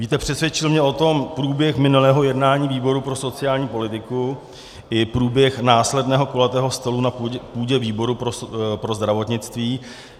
Víte, přesvědčil mě o tom průběh minulého jednání výboru pro sociální politiku i průběh následného kulatého stolu na půdě výboru pro zdravotnictví.